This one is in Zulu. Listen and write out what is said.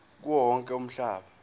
kuwo wonke umhlaba